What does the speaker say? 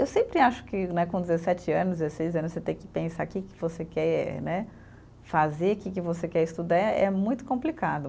Eu sempre acho que né, com dezessete anos, dezesseis, você tem que pensar que que você quer né, fazer, que que você quer estudar, é é muito complicado.